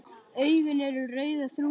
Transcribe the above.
Augun eru rauð og þrútin.